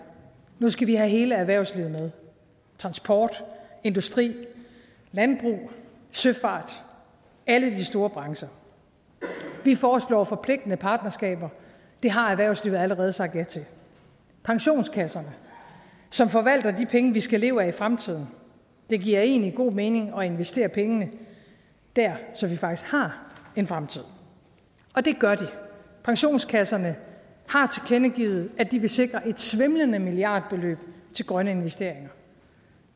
nu skal vi have hele erhvervslivet med transport industri landbrug søfart alle de store brancher vi foreslår forpligtende partnerskaber det har erhvervslivet allerede sagt ja til pensionskasserne som forvalter de penge som vi skal leve af i fremtiden det giver egentlig god mening investerer pengene dér så vi faktisk har en fremtid og det gør de pensionskasserne har tilkendegivet at de vil sikre et svimlende milliardbeløb til grønne investeringer